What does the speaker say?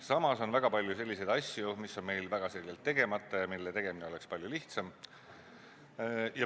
Samas on väga palju asju, mis on meil väga selgelt tegemata ja mille tegemine oleks palju lihtsam.